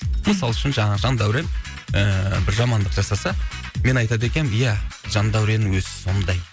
мысалы үшін жаңағы жандәурен ііі бір жамандық жасаса мен айтады екенмін ия жандәуреннің өзі сондай